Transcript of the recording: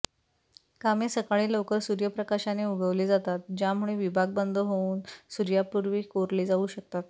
कामे सकाळी लवकर सूर्यप्रकाशाने उगवले जातात ज्यामुळे विभाग बंद होऊन सूर्यापूर्वी कोरले जाऊ शकतात